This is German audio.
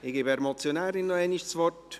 – Ich gebe der Motionärin nochmals das Wort.